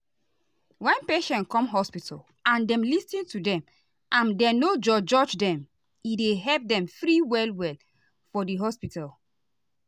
wen patient come hospital and dem lis ten to dem and dem no judge judge dem e dey help dem free well well for di hospital.